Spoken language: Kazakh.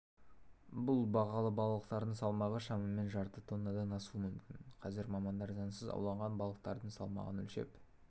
бұл бағалы балықтардың салмағы шамамен жарты тоннадан асуы мүмкін қазір мамандар заңсыз ауланған балықтардың салмағын өлшеп